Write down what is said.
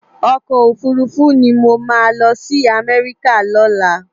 Òkò ófúrúfú ni mó má lòsi Amèriká lòlá